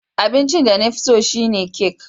Abincin da na fi so shine kek